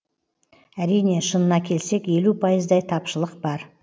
әрине шынына келсек елу пайыздай тапшылық бар